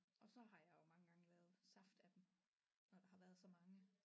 Og så har jeg jo mange gange lavet saft af dem når der har været så mange